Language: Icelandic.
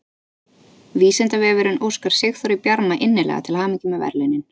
Vísindavefurinn óskar Sigþóri Bjarma innilega til hamingju með verðlaunin!